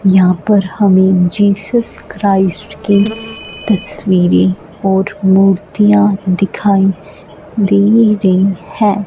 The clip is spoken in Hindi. यहां पर हमें जीसस क्राइस्ट की तस्वीरें और मूर्तियां दिखाई दे रही हैं।